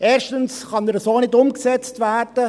Erstens kann er so nicht umgesetzt werden;